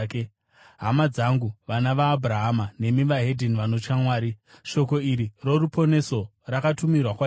“Hama dzangu, vana vaAbhurahama nemi vedzimwe ndudzi vanotya Mwari, shoko iri roruponeso rakatumirwa kwatiri.